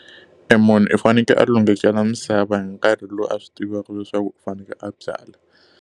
E munhu u fanekele a lunghisela misava hi nkarhi lowu a swi tivaka leswaku u fanekele a byala.